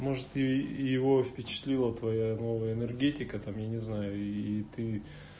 может е его впечатлила твоя новая энергетика там я не знаю и ты